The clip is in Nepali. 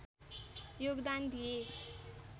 योगदान दिए